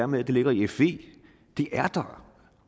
med at det ligger i fe er der